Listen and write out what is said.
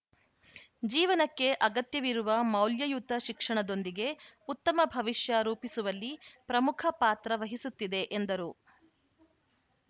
ಜೀವನಕ್ಕೆ ಅಗತ್ಯವಿರುವ ಮೌಲ್ಯಯುತ ಶಿಕ್ಷಣದೊಂದಿಗೆ ಉತ್ತಮ ಭವಿಷ್ಯ ರೂಪಿಸುವಲ್ಲಿ ಪ್ರಮುಖ ಪಾತ್ರ ವಹಿಸುತ್ತಿದೆ ಎಂದರು